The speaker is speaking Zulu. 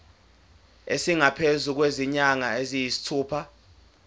esingaphezu kwezinyanga eziyisithupha